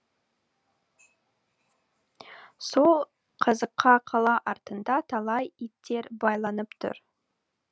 сол қазыққа қала артында талай иттер байланып тұр